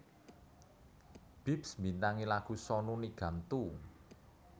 Bips mbintangi lagu Sonu Nigam Tu